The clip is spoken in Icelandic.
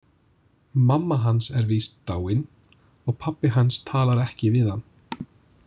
Mamma hans er víst dáin og pabbi hans talar ekki við hann.